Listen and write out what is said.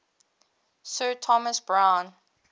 sir thomas browne